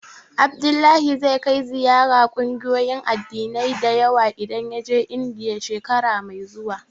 Abdullahi zai kai ziyara ƙungiyoyin addinai da yawa idan ya je Indiya, shekara mai zuwa.